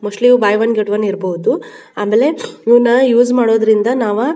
mostly if buy one get one ಇರ್ಬೋದು ಆಮೇಲೇ ಇದನ್ನಾ ಯುಸ ಮಾಡೋದಿಂದ್ರ ನಾವ--